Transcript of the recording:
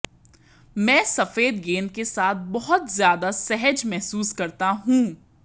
मैं सफेद गेंद के साथ बहुत ज्यादा सहज महसूस करता हूं